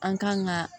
An kan ka